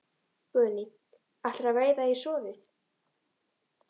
Guðný: Ætlarðu að veiða í soðið?